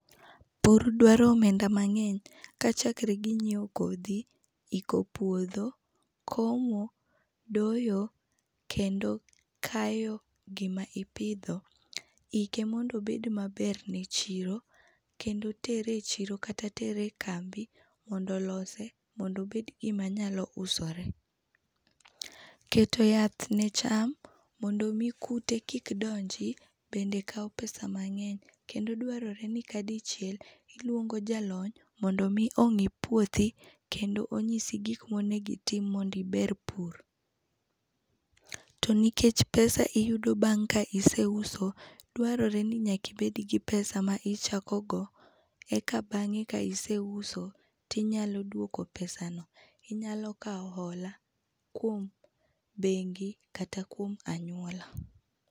Pur dwaro omenda mangeny ka chakre gi nyiew kodhi ,iko puodho, komo ,doyo, kendo kayo gima ipidho, ike mondo obed maber ne chiro kendo tere e chiro kata tere e kambi mondo olose mondo obed gima nyalo usore. Keto yath en cham mondo mi kute kik donji bende kaw pesa mangeny kendo dwarore ni kadichiel iluongo jalony mondo mi ongi puothi kendo onyisi gikma onego itim mondo iber pur. To nikech pesa iyudo bang ka ise uso, dwarore ni nyaka ibed gi pesa ma ichako go eka bange ka ise uso tinyalo duoko pesano, inyalo kao hola kuom bengi kata kuom anyuola